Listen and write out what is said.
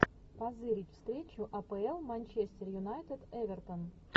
позырить встречу апл манчестер юнайтед эвертон